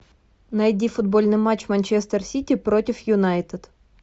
найди футбольный матч манчестер сити против юнайтед